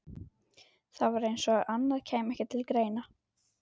Það var eins og annað kæmi ekki til greina.